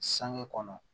Sange kɔnɔ